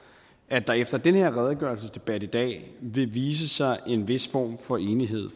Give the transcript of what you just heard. at der efter den her redegørelsesdebat i dag vil vise sig en vis form for enighed